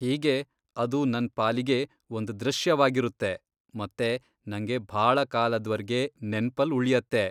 ಹೀಗೆ ಅದು ನನ್ ಪಾಲಿಗೆ ಒಂದ್ ದೃಶ್ಯವಾಗಿರುತ್ತೆ, ಮತ್ತೆ ನಂಗೆ ಭಾಳ ಕಾಲದ್ವರ್ಗೆ ನೆನ್ಪಲ್ಲ್ ಉಳ್ಯತ್ತೆ.